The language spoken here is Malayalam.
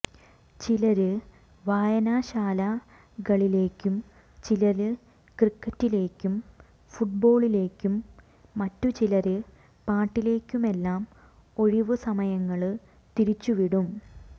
ചിലര് വായനശാലകളിലേക്കും ചിലര് ക്രിക്കറ്റിലേക്കും ഫുട്ബോളിലേക്കും മറ്റുചിലര് പാട്ടിലേക്കുമെല്ലാം ഒഴിവുസമയങ്ങള് തിരിച്ചുവിടും